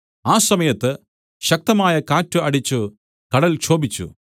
ആ സമയത്ത് ശക്തമായ കാറ്റ് അടിച്ചു കടൽ ക്ഷോഭിച്ചു